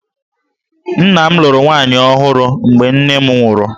Nna m lụrụ nwaanyị ọhụrụ mgbe nne m nwụrụ